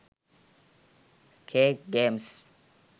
cake games